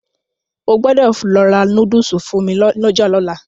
O gbọ́dọ̀ lọ ra núdùsù fún mi lọ́jà lọ́la.